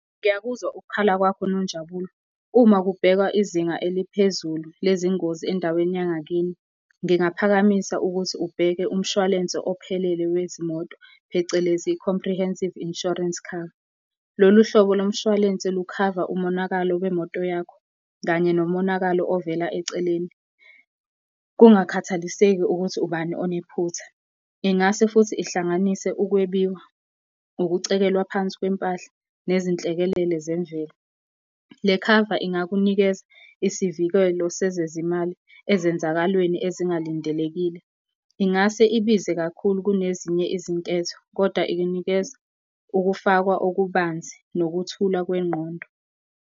Ngiyakuzwa ukukhala kwakho Nonjabulo uma kubhekwa izinga eliphezulu lezingozi endaweni yangakini. Ngingaphakamisa ukuthi ubheke umshwalense ophelele wezimoto phecelezi i-Comprehensive Insurance Cover. Lolu hlobo lomshwalense lukhava umonakalo wemoto yakho, kanye nomonakalo ovela eceleni, kungakhathaliseki ukuthi ubani onephutha. Ingase futhi ihlanganise ukwebiwa, ukucekelwa phansi kwempahla nezinhlekelele zemvelo. Le khava ingakunikeza isivikelo sezezimali ezenzakalweni ezingalindelekile. Ingase ibize kakhulu kunezinye izinketho kodwa ikunikeza ukufakwa okubanzi, nokuthula kwengqondo.